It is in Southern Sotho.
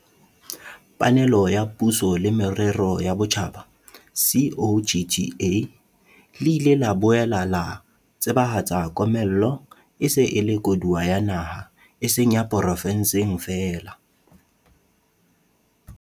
panelo ya Puso le Merero ya Botjhaba, COGTA, le ile la boela la tsebahatsa komello e se e le koduwa ya naha e seng ya porofenseng feela.